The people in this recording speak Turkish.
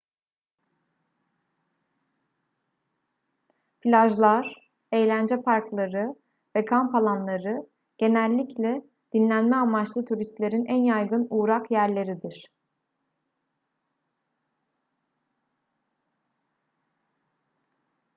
plajlar eğlence parkları ve kamp alanları genellikle dinlenme amaçlı turistlerin en yaygın uğrak yerleridir